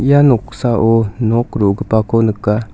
ia noksao nok ro·gipako nika.